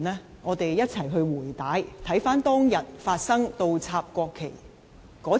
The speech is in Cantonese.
讓我們一起"回帶"，重溫當日發生倒插國旗時的背景。